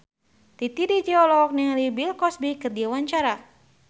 Titi DJ olohok ningali Bill Cosby keur diwawancara